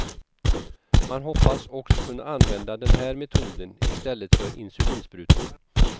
Man hoppas också kunna använda den här metoden i stället för insulinsprutor.